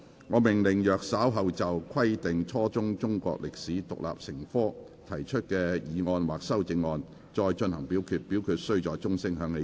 我命令若稍後就"規定初中中國歷史獨立成科"所提出的議案或修正案再進行點名表決，表決須在鐘聲響起1分鐘後進行。